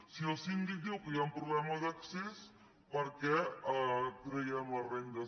si el síndic diu que hi ha un problema d’accés per què traiem les rendes